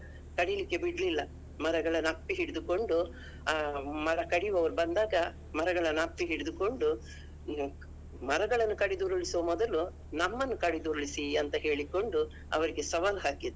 ಕಡಿಲಿಕ್ಕೆ ಬಿಡ್ಲಿಲ್ಲಾ ಮರಗಳನ್ನು ಅಪ್ಪಿಹಿಡಿದುಕೊಂಡು ಆ ಮರ ಕಡಿಯುವರು ಬಂದಾಗ ಮರಗಳನ್ನು ಅಪ್ಪಿ ಹಿಡಿದುಕೊಂಡು ಮರಗಳನ್ನು ಕಡಿದು ಉರುಳಿಸೋ ಮೊದಲು ನಮ್ಮನ್ನು ಕಡಿದು ಉರುಳಿಸಿ ಅಂತ ಹೇಳಿಕೊಂಡು ಅವರಿಗೆ ಸವಾಲ್ ಹಾಕಿದ್ರು.